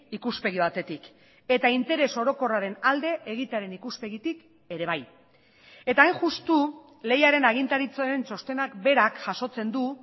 ikuspegi batetik eta interes orokorraren alde egitearen ikuspegitik ere bai eta hain justu lehiaren agintaritzaren txostenak berak jasotzen du